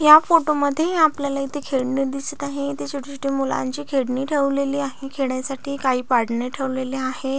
या फोटो मध्ये आपल्याला येथे खेळणी दिसत आहे इते छोट छोटी मुलांची खेळणी ठेवलेली आहे खेडण्यासाटी काई पाडणे ठेवलेले आहे.